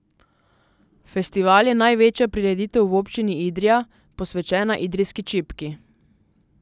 Festival je največja prireditev v občini Idrija, posvečena idrijski čipki.